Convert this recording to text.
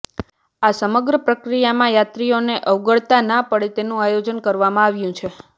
આ સમગ્ર પ્રક્રિયામાં યાત્રીઓને અગવડતા ના પડે તેનું આયોજન કરવામાં આવ્યું છે